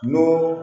N'o